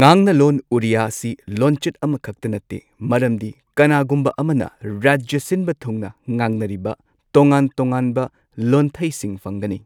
ꯉꯥꯡꯅꯂꯣꯟ ꯑꯣꯔꯤꯌꯥ ꯑꯁꯤ ꯂꯣꯟꯆꯠ ꯑꯃꯈꯛꯇ ꯅꯠꯇꯦ ꯃꯔꯝꯗꯤ ꯀꯅꯥꯒꯨꯝꯕ ꯑꯃꯅ ꯔꯥꯖ꯭ꯌ ꯁꯤꯟꯕ ꯊꯨꯡꯅ ꯉꯥꯡꯅꯔꯤꯕ ꯇꯣꯉꯥꯟ ꯇꯣꯉꯥꯟꯕ ꯂꯣꯟꯊꯩꯁꯤꯡ ꯐꯪꯒꯅꯤ꯫